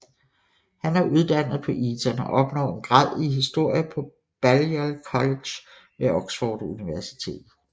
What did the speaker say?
Han er uddannet på Eton og opnår en grad i historie på Balliol College ved Oxford Universitet